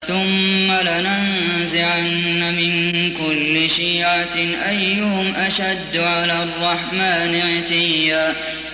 ثُمَّ لَنَنزِعَنَّ مِن كُلِّ شِيعَةٍ أَيُّهُمْ أَشَدُّ عَلَى الرَّحْمَٰنِ عِتِيًّا